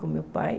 Com o meu pai.